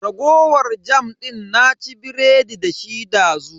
Raguwar jam din na ci biredi dashi dazu.